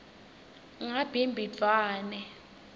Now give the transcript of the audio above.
ngabhimbidvwane